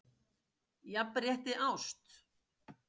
Jafnrétti ást?